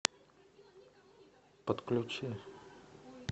подключи